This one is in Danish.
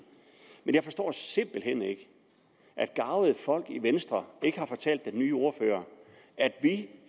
men jeg forstår simpelt hen ikke at garvede folk i venstre ikke har fortalt den nye ordfører at